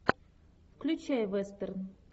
включай вестерн